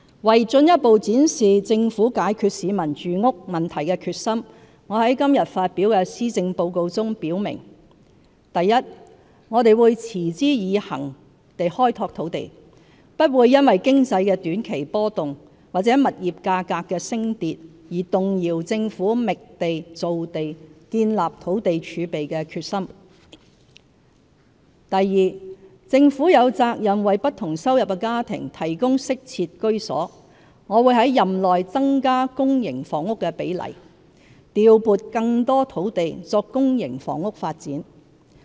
為進一步展示政府解決市民住屋問題的決心，我在今天發表的施政報告中表明： 1我們會持之以恆地開拓土地，不會因經濟的短期波動，或物業價格的升跌，而動搖政府覓地造地、建立土地儲備的決心； 2政府有責任為不同收入的家庭提供適切居所，我會在任內增加公營房屋的比例，調撥更多土地作公營房屋發展。